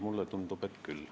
Mulle tundub, et andsin küll.